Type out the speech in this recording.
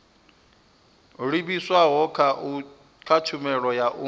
livhiswaho kha tshumelo ya u